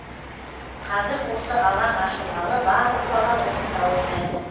қазір осы алаң ашылғалы барлық бала осында ойнайды